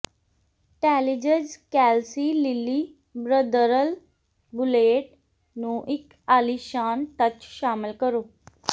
ਟੈਲਿਜਜ਼ ਕੈਲਸੀ ਲਿਲੀ ਬ੍ਰਦਰਲ ਬੁਲੇਟ ਨੂੰ ਇੱਕ ਆਲੀਸ਼ਾਨ ਟਚ ਸ਼ਾਮਲ ਕਰੋ